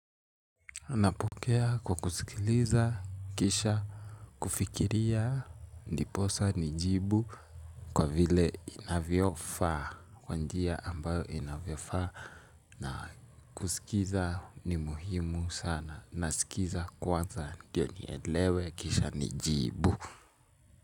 Napokea kwa kusikiliza, kisha, kufikiria, ndiposa, nijibu, kwa vile inavyofaa, kwa njia ambayo inavyofaa, na kusikiza ni muhimu sana, nasikiza kwanza, ndiyo nielewe, kisha, nijibu.